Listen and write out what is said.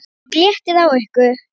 OG LÉTTIR Á YKKUR!